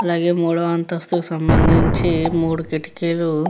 అలాగే మూడో అంతస్తు కి సంభందించి మూడు కిటికీలు --